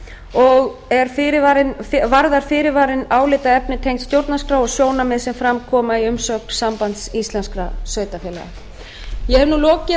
og varðar fyrirvarinn álitaefni tengd stjórnarskrá og sjónarmið sem fram koma í umsögn sambands íslenskra sveitarfélaga ég hef